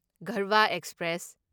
ꯒꯔꯚꯥ express